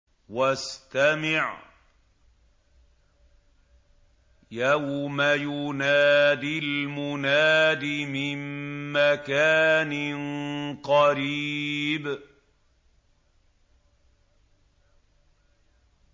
وَاسْتَمِعْ يَوْمَ يُنَادِ الْمُنَادِ مِن مَّكَانٍ قَرِيبٍ